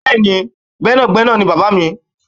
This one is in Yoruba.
Bẹ́ẹ̀ni, gbẹ́nàgbẹ́nà ni Bàbá mi.